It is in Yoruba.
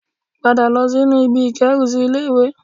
Padà lọ sínú ibi ìkérùsí ilé-ìwé